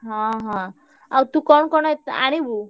ହଁ ହଁ ଆଉ ତୁ କଣ କଣ ଏ ଆଣିବୁ?